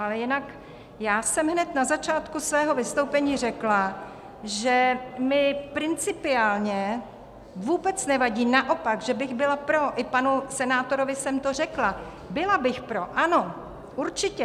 Ale jinak já jsem hned na začátku svého vystoupení řekla, že mi principiálně vůbec nevadí, naopak, že bych byla pro, i panu senátorovi jsem to řekla, byla bych pro, ano, určitě.